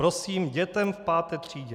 Prosím, dětem v 5. třídě!